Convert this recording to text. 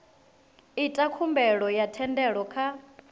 ita khumbelo ya thendelo kha